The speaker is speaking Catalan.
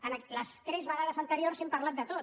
en les tres vegades anteriors hem parlat de tot